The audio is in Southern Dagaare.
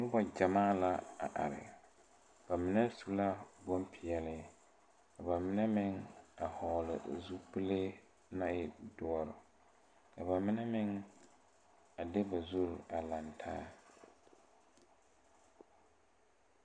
Nobɔ gyamaa la are ba mine su la bonpeɛle ka ba mine meŋ a hɔɔle zupile naŋ e dɔre ka ba mine meŋ a de ba zure laŋtaa.